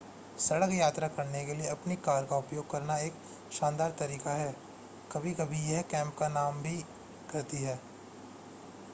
सड़क यात्रा करने के लिए अपनी कार का उपयोग करना एक शानदार तरीका है कभी कभी यह कैंप”का काम भी करती है।